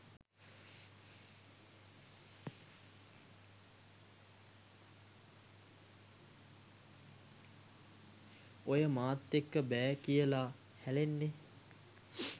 ඔය මාත් එක්ක බෑ කියලා හැලෙන්නේ